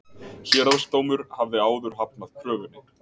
Héraðsdómur hafði áður hafnað kröfunni